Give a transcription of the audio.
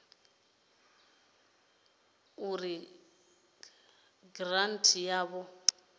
ita uri giranthi yavho i